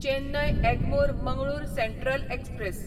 Chennai Egmore Mangalore central express